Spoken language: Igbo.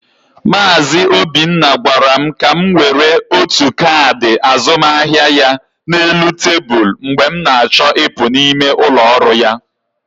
Mazị Obinna gwara m ka m were otu kaadị azụmaahịa ya na elu tebụl mgbe m na-achọ ịpụ n'ime ụlọ ọrụ ya.